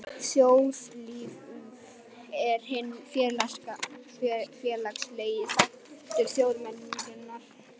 Þjóðlíf er hinn félagslegi þáttur þjóðmenningarinnar.